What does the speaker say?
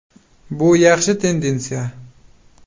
Bu yaxshi tendensiya.